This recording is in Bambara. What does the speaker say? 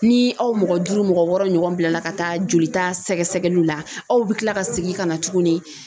Ni aw mɔgɔ duuru , mɔgɔ wɔɔrɔ ɲɔgɔn bilala ka taa jolita sɛgɛsɛgɛliw la , aw bɛ kila ka segin ka na tuguni